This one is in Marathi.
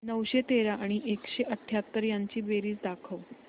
नऊशे तेरा आणि एकशे अठयाहत्तर यांची बेरीज दाखव